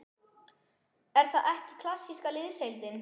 Er það ekki klassíska liðsheildin?